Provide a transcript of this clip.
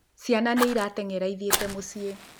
Cĩana nĩiratengera ithiĩte mũciĩ.